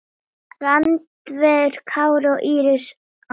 Randver Kári og Íris Anna.